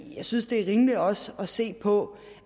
jeg synes det er rimeligt også at se på